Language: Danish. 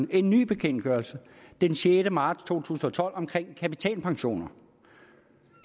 en ny bekendtgørelse den sjette marts to tusind og tolv om kapitalpensioner